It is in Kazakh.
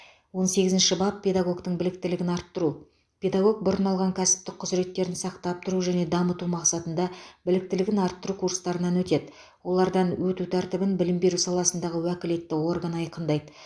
он сегізінші бап педагогтің біліктілігін арттыру педагог бұрын алған кәсіптік құзыреттерін сақтап тұру және дамыту мақсатында біліктілігін арттыру курстарынан өтеді олардан өту тәртібін білім беру саласындағы уәкілетті орган айқындайды